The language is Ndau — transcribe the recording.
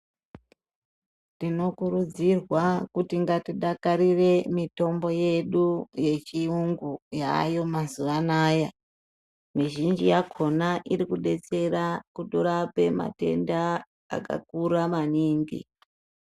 Tinokurudzirwa kuti ngatidakarire mitombo yedu yechirungu yayo mazuva ano mizhinji yakona iri kudetsera kurape matenda akakura maningi.